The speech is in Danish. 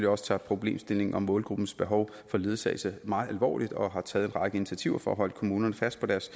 også tager problemstillingen om målgruppens behov for ledsagelse meget alvorligt og har taget en række initiativer for at holde kommunerne fast på deres